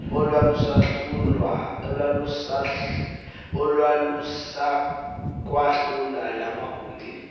olwalusakwahlula la magumbi